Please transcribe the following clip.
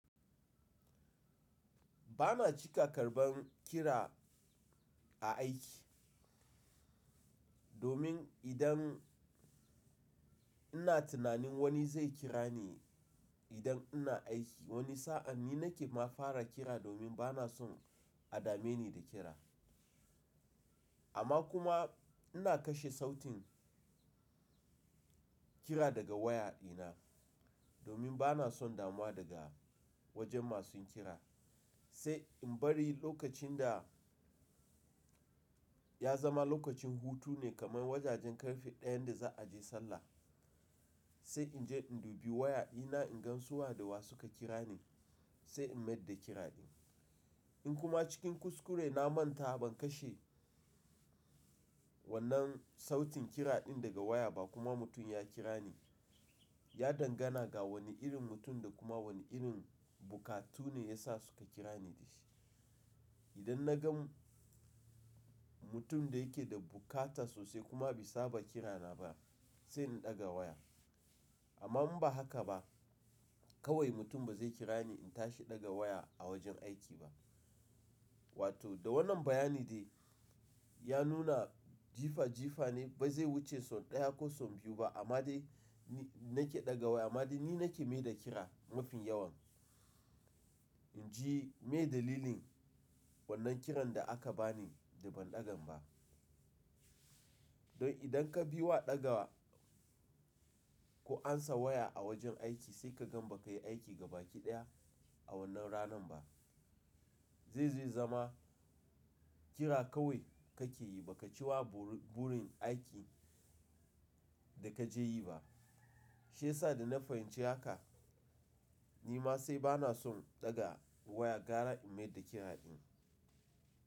Ba na cika karban kira a aiki. Domin idan ina tunanin wani zai kira ni idan ina aiki wani sa'a ni nake ma fara kira domin ba na son a dame ni da kira. Amma kuma ina kashe sautin kira daga waya dina domin ba na son damuwa daga wajen masu kira. Sai in bari lokacin da ya zama lokacin hutu ne kamar wajajen karfe ɗayan da za a je sallah sai in je in dubi waya ina in gan su wa da wa suka kira ni sai in maida kira din. In kuma cikin kuskure na manta ban kashe wannan sautin kira din daga waya ba kuma mutum ya kira ni, ya dangana ga wani irin mutum da kuma wani irin bukatu ne ya sa suka kira ni da shi. Idan na gan mutum da yake da bukata sosai kuma bisa ba kira na ba sai in daga waya. Amma in ba haka ba kawai mutum ba zai kira ni in tashi daga waya a wajen aiki ba. Wato da wannan bayani dai ya nuna jifa jifa ne ba zai wuce son ɗaya ko son biyu ba amma dai ni nake daga waya amma dai ni nake maida kira mafin yawan. In ji mai dalilin wannan kiran da aka bani da ban ɗagan ba. Don idan ka bi wa daga ko ansa waya a wajen aiki sai ka gan ba ka yi aiki gaba ki ɗaya a wannan ranan ba. Zai zai zama kira kawai kake yi ba ka ci wa burin aiki da ka je yi ba. Shi yasa da na fahimci haka ni ma sai ba na son daga waya gara in maida kira din.